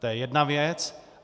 To je jedna věc.